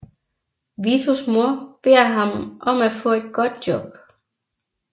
Vitos mor beder ham om at få et godt job